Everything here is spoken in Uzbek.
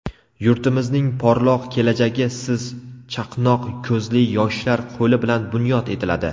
yurtimizning porloq kelajagi siz- chaqnoq ko‘zli yoshlar qo‘li bilan bunyod etiladi.